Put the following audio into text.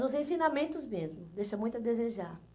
Nos ensinamentos mesmo, deixa muito a desejar.